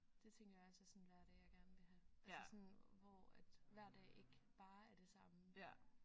Det tænker jeg også er sådan en hverdag jeg gerne vil have altså sådan hvor at hver dag ikke bare er det samme